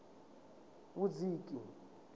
vhudziki